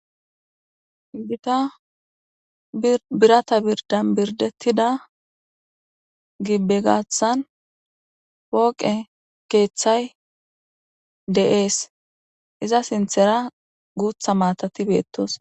Giitta birata birdan birdettida giibe gaaththan pooqe keththay de'es iza sinththera guuththa maatati bettosonna.